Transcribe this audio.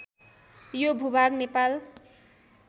यो भूभाग नेपाल